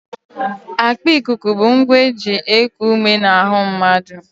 Akpa ikuku bụ ngwa e ji eku ume n'ahụ mmadụ